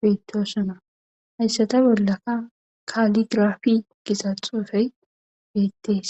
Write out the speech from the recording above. beettosona hayssata bollaka kaligraafi gizaxuufey beettees